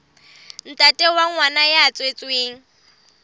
ntate wa ngwana ya tswetsweng